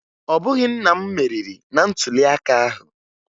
Ọ bụghị nna m meriri na ntụliaka ahụ